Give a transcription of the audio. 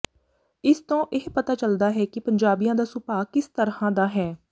ਇਸ ਤੋਂ ਇਹ ਪਤਾ ਚੱਲਦਾ ਹੈ ਕਿ ਪੰਜਾਬੀਆਂ ਦਾ ਸੁਭਾਅ ਕਿਸ ਤਰ੍ਹਾਂ ਦਾ ਹੈ